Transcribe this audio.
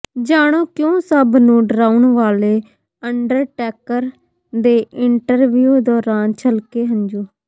ਜਾਣੋ ਕਿਉਂ ਸਭ ਨੂੰ ਡਰਾਉਣ ਵਾਲੇ ਅੰਡਰਟੇਕਰ ਦੇ ਇੰਟਰਵੀਊ ਦੌਰਾਨ ਛਲਕੇ ਹੰਝੂ